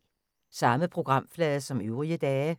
Samme programflade som øvrige dage